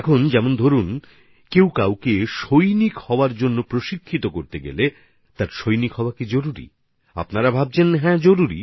যেমন কেউ যদি কাউকে সৈনিক হওয়ার জন্য প্রশিক্ষিত করে থাকেন তাহলে কি তাকেও সৈনিক হতে হবে আপনারা হয়ত ভাবছেন হ্যাঁ সেটা জরুরি